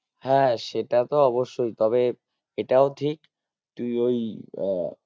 হ্যাঁ সেটা তো অবশ্যই তবে এটাও ঠিক তুই ওই আহ